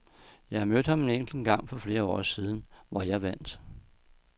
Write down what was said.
Jeg har mødt ham en enkelt gang for flere år siden, hvor jeg vandt.